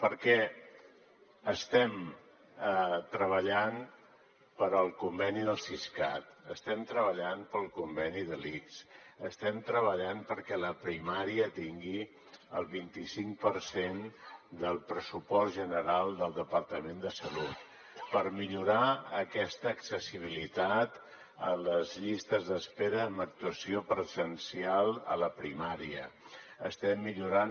perquè estem treballant pel conveni del siscat estem treballant pel conveni de l’ics estem treballant perquè la primària tingui el vint i cinc per cent del pressupost general del departament de salut per millorar aquesta accessibilitat a les llistes d’espera amb actuació presencial a la primària estem millorant